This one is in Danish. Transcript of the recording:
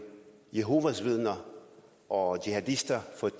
jehovas vidner og jihadister